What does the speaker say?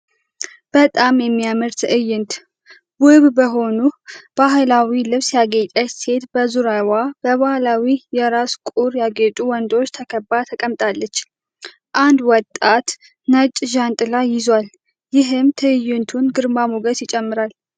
በጣም የሚያምር ትዕይንት! ውብ በሆነ ባህላዊ ልብስ ያጌጠች ሴት በዙሪያዋ በባህላዊ የራስ ቁር ያጌጡ ወንዶች ተከባ ተቀምጣለች። አንድ ወጣት ነጭ ጃንጥላ ይዟል፤ ይህም የትዕይንቱን ግርማ ሞገስ ይጨምራል።